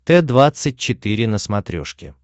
т двадцать четыре на смотрешке